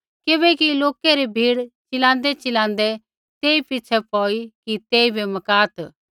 किबैकि लोकै री भीड़ चिलाँदैचिलाँदै तेई पिछ़ै पौई कि तेइबै मकात्